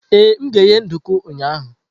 Ee, m ga-eghe nduku ụnyahụ.